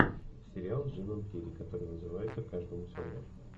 сериал с джимом керри который называется каждому свое